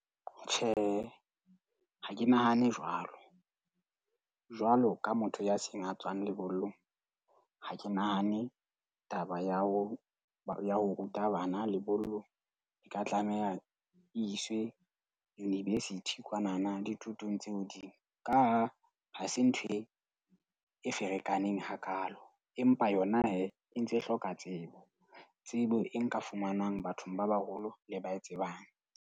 Tjhe, ha ke nahane jwalo. Jwalo ka motho ya seng a tswang lebollong ha ke nahane taba ya ho ya ho ruta bana lebollo e ka tlameha iswe university kwanana dithutong tse hodimo. Ka ha ha se ntho e e ferekaneng hakaalo. Empa yona hee e ntse e hloka tsebo. Tsebo e nka fumanwang bathong ba baholo le ba e tsebang.